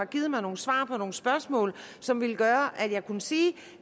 givet mig nogle svar på nogle spørgsmål som ville gøre at jeg kunne sige